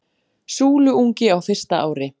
Súluungi á fyrsta ári.